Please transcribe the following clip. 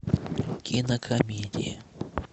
кинокомедия